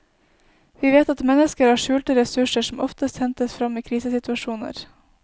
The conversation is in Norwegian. Vi vet at mennesker har skjulte ressurser som ofte hentes frem i krisesituasjoner.